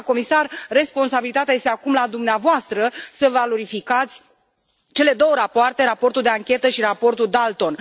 Doamnă comisar, responsabilitatea este acum la dumneavoastră, să valorificați cele două rapoarte, raportul de anchetă și raportul Dalton.